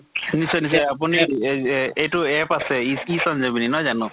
নিশ্চয় নিশ্চয়, আপুনি এহ এহ এইটো app আছে e চন্জয় বুলি নহয় জানো?